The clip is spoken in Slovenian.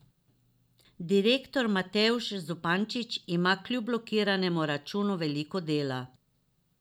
Direktor Matevž Zupančič ima kljub blokiranemu računu veliko dela.